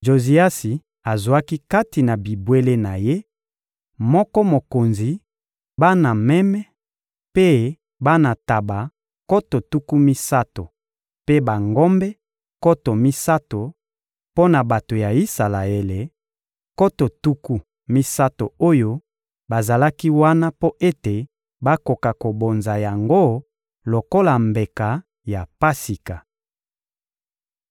Joziasi azwaki kati na bibwele na ye moko mokonzi bana meme mpe bana ntaba nkoto tuku misato mpe bangombe nkoto misato, mpo na bato ya Isalaele, nkoto tuku misato oyo bazalaki wana mpo ete bakoka kobonza yango lokola mbeka ya Pasika.